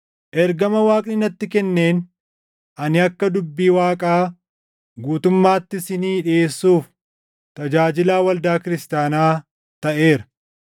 Ergama Waaqni natti kenneen ani akka dubbii Waaqaa guutummaatti isinii dhiʼeessuuf tajaajilaa waldaa kiristaanaa taʼeera;